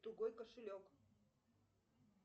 тугой кошелек